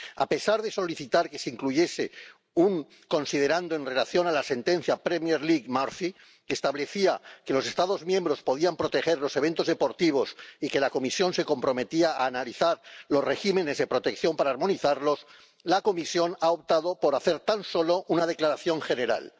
A pesar de solicitar que se incluyese un considerando en relación con la sentencia Premier League Murphy, que establecía que los Estados miembros podían proteger los eventos deportivos y que la Comisión se comprometía a analizar los regímenes de protección para armonizarlos, la Comisión ha optado por hacer tan solo una declaración general.